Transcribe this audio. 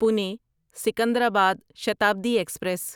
Pune Secunderabad Shatabdi express